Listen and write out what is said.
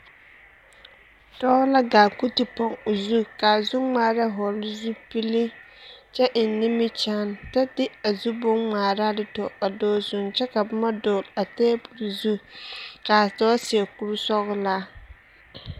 Dɔɔ la ɡaa ka o te poŋ o zu ka a zuŋmaara hɔɔle zupili kyɛ eŋ nimikyaane kyɛ de a zu bonŋmaaraa dɔɡele a dɔɔ zuiŋ kyɛ ka boma dɔɔle a teebul zu ka a dɔɔ seɛ kursɔɔlaa.